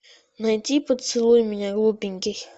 найти поцелуй меня глупенький